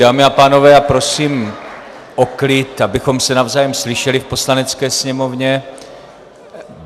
Dámy a pánové, já prosím o klid, abychom se navzájem slyšeli v Poslanecké sněmovně.